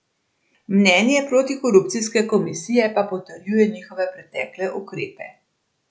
Mnenje protikorupcijske komisije pa potrjuje njihove pretekle ukrepe.